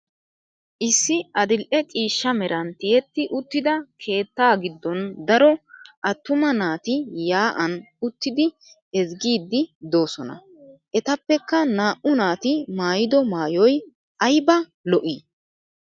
Issi adil'e ciishsha meran tiyetti uttida keettaa giddon daro attuma naati yaa'an uttidi ezggiiddi doosona. Etappekka naa'u naati maayido maayoy ayiba lo'i!